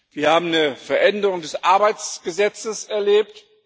Wir haben eine Veränderung des Arbeitsgesetzes erlebt.